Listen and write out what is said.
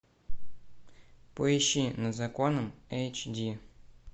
поищи над законом эйч ди